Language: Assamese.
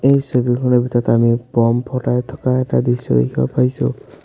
এই ছবিখনৰ ভিতৰত আমি ব'ম ফ'টাই থকা এটা দৃশ্য দেখিব পাইছোঁ।